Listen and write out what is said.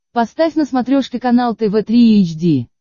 поставь на смотрешке канал тв три эйч ди